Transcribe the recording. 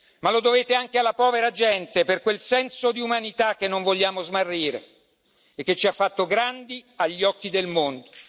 Ma lo dovete anche alla povera gente, per quel senso di umanità che non vogliamo smarrire e che ci ha fatto grandi agli occhi del mondo.